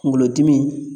Kunkolodimi